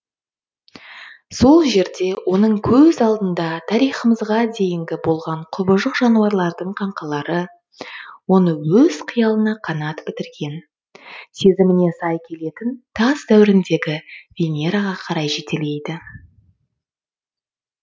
сол жерде оның көз алдында тарихымызға дейінгі болған құбыжық жануарлардың қаңқалары оны өз қиялына қанат бітірген сезіміне сай келетін тас дәуіріндегі венераға қарай жетелейді